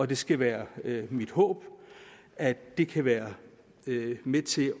det skal være mit håb at det kan være med til